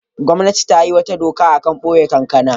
Gwamnati ta yi wata doka a kan boye kankana.